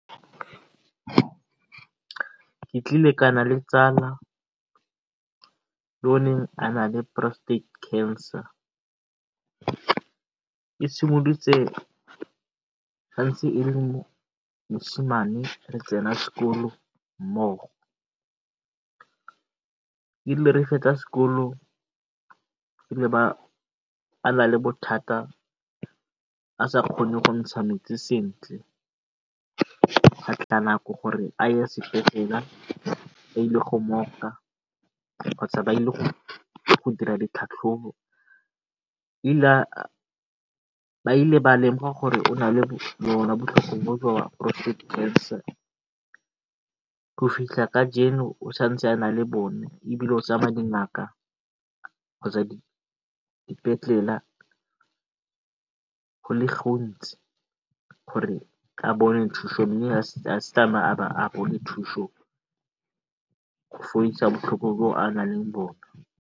ka na le tsala yo o neng a na le prostate cancer. E simolotse gansi a le mosimane re tsena sekolo mmogo. E rile re fetsa sekolo a ba le bothata a sa kgone go ntsha metsi sentle. Ga tla nako gore a ye sepetlela baile go mo oka go dira ditlhatlhobo ba ile ba lemoga gore o na le bona ba prostate cancer, go fitlha o sa ntse a na le bone e bile o tsamaya dingaka kgotsa dipetlela go le gontsi gore a bone thuso go fodisa bolwe a nang le bone.